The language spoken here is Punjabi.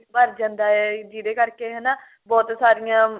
ਭਰ ਜਾਂਦਾ ਏ ਜਿਹਦੇ ਕਰਕੇ ਹਨਾ ਬਹੁਤ ਸਾਰੀਆਂ